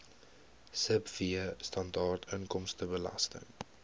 sibw standaard inkomstebelasting